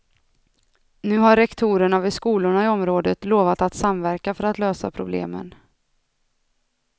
Nu har rektorerna vid skolorna i området lovat att samverka för att lösa problemen.